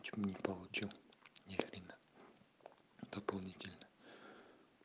че нибудь получил нихрена дополнительно